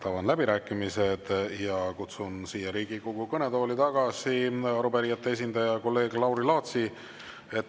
Avan läbirääkimised ja kutsun Riigikogu kõnetooli tagasi arupärijate esindaja kolleeg Lauri Laatsi.